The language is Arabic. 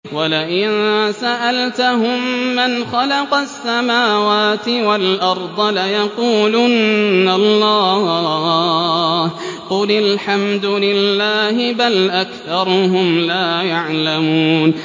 وَلَئِن سَأَلْتَهُم مَّنْ خَلَقَ السَّمَاوَاتِ وَالْأَرْضَ لَيَقُولُنَّ اللَّهُ ۚ قُلِ الْحَمْدُ لِلَّهِ ۚ بَلْ أَكْثَرُهُمْ لَا يَعْلَمُونَ